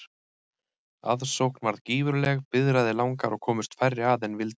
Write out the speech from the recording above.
Aðsókn varð gífurleg, biðraðir langar og komust færri að en vildu.